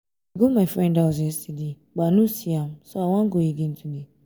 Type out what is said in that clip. i go my friend house yesterday but i no see am so i wan go again today